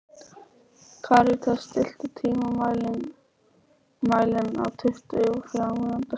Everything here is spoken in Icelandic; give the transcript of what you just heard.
Karítas, stilltu tímamælinn á tuttugu og þrjár mínútur.